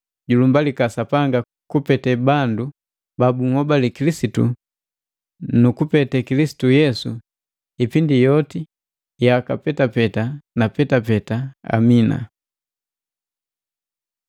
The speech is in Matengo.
julumbalika Sapanga kupete bandu ba bunhobali Kilisitu na kupete Kilisitu Yesu ipindi yoti, yaka petapeta na petapeta, Amina.